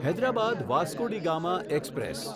Hyderabad Vasco da Gama express